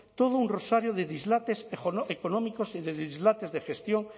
todo un rosario de dislates económicos y de dislates de gestión